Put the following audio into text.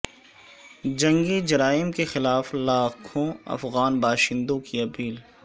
جنگی جرائم کے خلاف لاکھوں افغان باشندوں کی اپیل